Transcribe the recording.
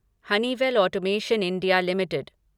Honeywell automation India limited